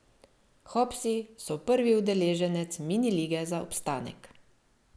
Hopsi so prvi udeleženec mini lige za obstanek.